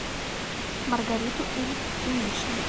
маргариту ильиничну